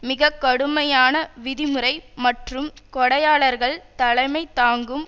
மிக கடுமையான விதிமுறை மற்றும் கொடையாளர்கள் தலைமை தாங்கும்